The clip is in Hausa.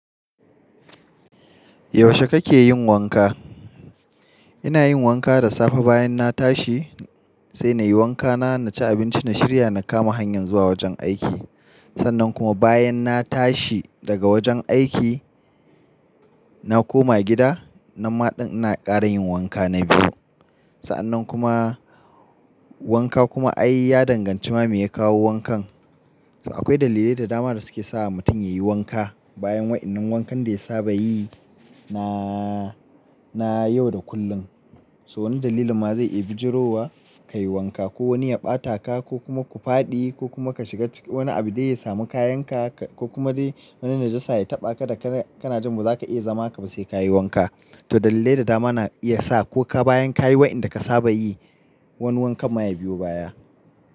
Yaushe kake yin wanka? Ina yin wanka da safe bayan na tashi, sai na yi wanka, na ci abinci, na shirya na kama hanyan zuwa wajen aiki. Sannan kuma bayan na tashi daga wajen aiki, na koma gida, namma ɗin ina ƙara yin wanka na biyu. Sa'an nan kuma wanka kuma ai ya danganci ma me ya kawo wankan. Akwai dalilai da dama da suke sa mutum ya yi wanka bayan waɗannan wankan da ya saba yi na, na yau da kullum. So wani dalilin ma zai iya bijirowa ka yi wanka, ko wani ya ɓata ka, ko kuma ku fadi, ko kuma ka shiga cikin wani abu dai ya samu kayanka, ko kuma dai wani najasa ya taɓa ka da kana jin ba za ka iya zama haka ba sai ka yi wanka. To dalilai da dama na iya sa ko ka bayan ka yi waɗanda ka saba yi, wani wankan ma ya biyo baya.